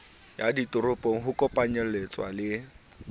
ya ditoropo ho kopanyeletsa le